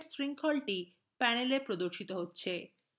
peptide চেইনটি panelএ প্রদর্শিত হচ্ছে